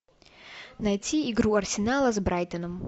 найти игру арсенала с брайтоном